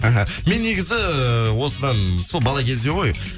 аха мен негізі осыдан сол бала кезде ғой